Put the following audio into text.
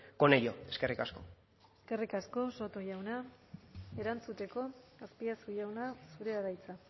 con ello eskerrik asko eskerrik asko soto jauna erantzuteko azpiazu jauna zurea da hitza